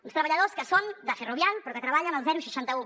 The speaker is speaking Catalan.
uns treballadors que són de ferrovial però que treballen al seixanta un